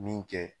Min kɛ